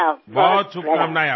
ખૂબ ખૂબ શુભકામનાઓ